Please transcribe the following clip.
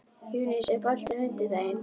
Júníus, er bolti á fimmtudaginn?